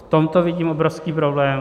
V tomto vidím obrovský problém.